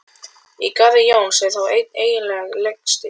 Í garði Jóns er þó einn eiginlegur legsteinn.